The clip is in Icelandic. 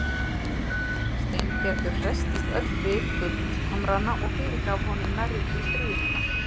Steingerður hresstist öll við gullhamrana og fyrirgaf honum nærri því stríðnina.